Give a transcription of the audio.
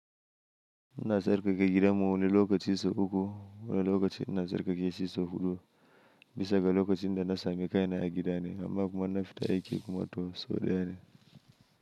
Ina sarƙaƙa gidanmu wani lokacin sau uku wani lokacin ina sarƙaƙe shida sau huɗu. Bisa ga lokacin da na sami kai na a gida ne, amma kuma in na fita aiki kuma to sau daya ne.